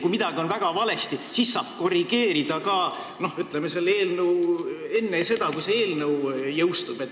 Kui midagi on väga valesti, siis saab korrigeerida ka enne seda, kui see eelnõu seadusena jõustub.